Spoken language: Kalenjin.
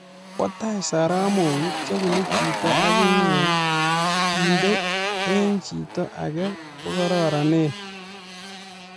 Bataa soromok chebunuu chiito agingee kendee eng chitaa agee ko kararanene